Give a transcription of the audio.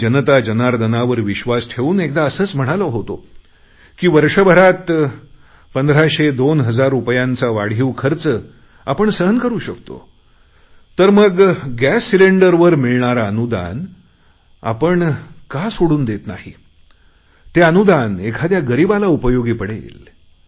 मी जनता जनार्दनावर विश्वास ठेवून एकदा असेच म्हणालो होतो की वर्षभरात 1500 2000 रुपयांचा वाढीव खर्च आपण सहन करु शकतो तर मग गॅस सिलेंडरवर मिळणारे अनुदान आपण का सोडून देत नाही ते अनुदान एखाद्या गरीबाला उपयोगी पडेल